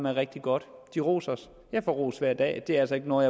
er rigtig godt de roser os jeg får ros hver dag og det er altså ikke noget